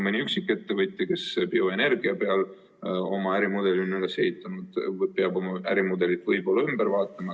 Mõni üksik ettevõtja, kes on oma ärimudeli bioenergia peale üles ehitanud, peaks ärimudeli võib-olla üle vaatama.